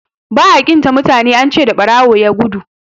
ba a ƙin ta mutane an ce da barawon ya gudu